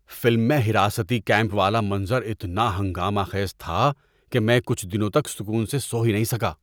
Film میں حراستی camp والا منظر اتنا ہنگامہ خیز تھا کہ میں کچھ دنوں تک سکون سے سو ہی نہیں سکا۔